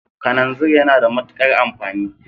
Kalanzir yana da matuƙar amfani